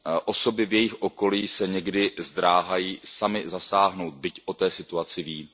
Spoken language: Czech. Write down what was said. Osoby v jejich okolí se někdy zdráhají samy zasáhnout, byť o té situaci ví.